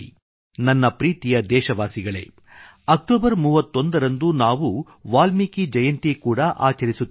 ನನ್ನ ಪ್ರೀತಿಯ ದೇಶವಾಸಿಗಳೇ ಅಕ್ಟೋಬರ್ 31 ರಂದು ನಾವು ವಾಲ್ಮೀಕಿ ಜಯಂತಿ ಕೂಡಾ ಆಚರಿಸುತ್ತೇವೆ